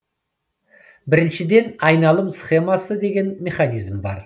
біріншіден айналым схемасы деген механизм бар